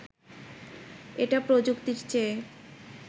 এটা প্রযুক্তির চেয়ে